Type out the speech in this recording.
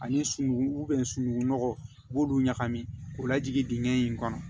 Ani sunugun sunugunɔgɔ u b'olu ɲagami k'o lajigin digɛn in kɔnɔ